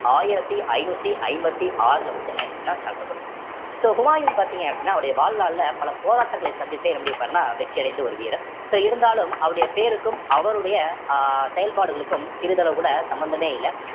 ஆயிரத்தி ஐந்நூத்தி ஐம்பத்தி ஆறுல வச்சு என்ன ஆயிருச்சுன்னா தாழ்த்தப்பட்டிருக்கும் so ஹுமாயூன் பார்த்தீங்க அப்படின்னா அவருடைய வாழ்நாள்ல பல போராட்டங்களை சந்தித்தே என்ன பண்ணியிருப்பாருன்னா வெற்றி அடைந்த ஒரு வீரர் so இருந்தாலும் அவருடைய பேருக்கும் அவருடைய அஹ் செயல்பாடுகளுக்கும் சிறிதளவு கூட சம்பந்தமே இல்லை